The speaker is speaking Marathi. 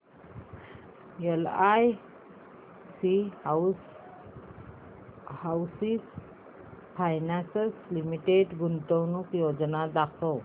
एलआयसी हाऊसिंग फायनान्स लिमिटेड गुंतवणूक योजना दाखव